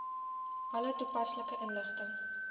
alle toepaslike inligting